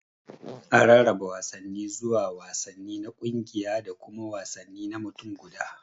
An rarraba wasanni zuwa wasanni na kungiya da kuma wasanni na mutum guda.